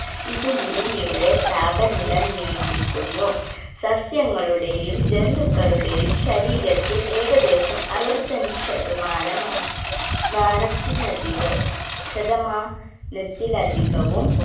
ഇത് ഭൂമിയുടെ താപനില നിയന്ത്രിക്കുന്നു സസ്യങ്ങളുടെയും ജന്തുക്കളുടെയും ശരീരത്തിൽ ഏകദേശം അറുപത്തഞ്ച് ശതമാനമ മാനത്തിലധികം ശതമാ നത്തിലധികവും